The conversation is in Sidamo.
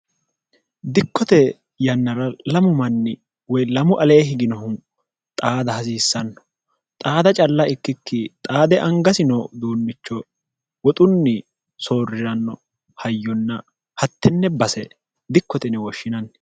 dikkote yannara lamu manni woy lamu ale higinohu xaada hasiissanno xaada calla ikkikki xaade angasino duunnicho woxunni soorriranno hayyonna hattenne base dikkotene wooshshinanni